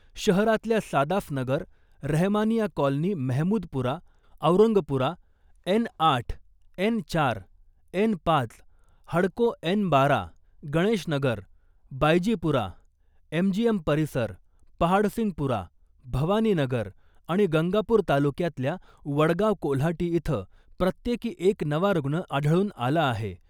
शहरातल्या Sadaf Nagar , Rehmania colony Mehmoodpura , Aurangpura , N आठ , N चार , एन पाच , हडको एन बारा , गणेश नगर , बायजीपुरा , एमजीएम परिसर , पहाडसिंगपुरा , भवानीनगर आणि गंगापूर तालुक्यातल्या वडगाव कोल्हाटी इथं प्रत्येकी एक नवा रुग्ण आढळून आला आहे .